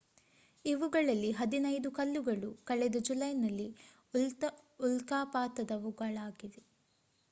ಇವುಗಳಲ್ಲಿ ಹದಿನೈದು ಕಲ್ಲುಗಳು ಕಳೆದ ಜುಲೈನ ಉಲ್ಕಾಪಾತದವುಗಳಾಗಿದೆ